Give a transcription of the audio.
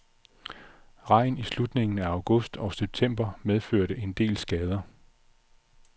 Regn i slutningen af august og september medførte en del skader.